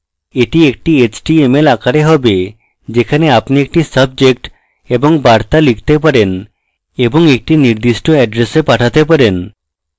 এটি একটি html আকারে হবে যাতে আপনি একটি subject এবং বার্তা লিখতে পারেন এবং একটি নির্দিষ্ট এড্রেসে পাঠাতে পারে